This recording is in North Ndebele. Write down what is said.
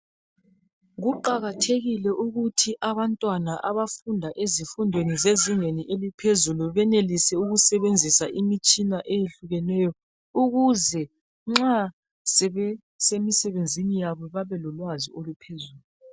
Kuqakathekile ukuthi abantwana abafunda ezifundweni zezingeni eliphezulu benelise ukusebenzisa imitshina eyehlukeneyo ukuze nxa sebesemisebenzini yabo babelolwazi oluphezulu.